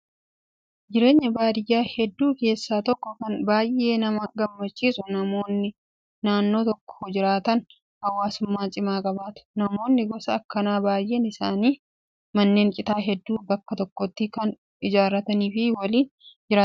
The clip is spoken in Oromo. Jireenya baadiyyaa hedduu keessaa tokko kan baay'ee nama gammachiisu namoonni naannoo tokko jiraatan hawaasummaa cimaa qabaatu. Namoonni gosa akkanaa baay'een isaanii manneen citaa hedduu bakka tokkotti kan ijaarratanii fi waliin jiraatanidha.